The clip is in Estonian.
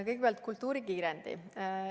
Kõigepealt kultuurikiirendist.